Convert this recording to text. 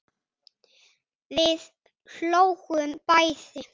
Við hlógum bæði.